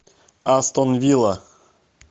астон вилла